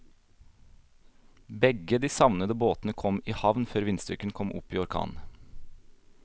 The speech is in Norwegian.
Begge de savnede båtene kom i havn før vindstyrken kom opp i orkan.